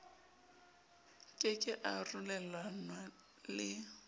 ke ke a arolelanwa le